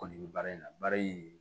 Kɔni bɛ baara in na baara in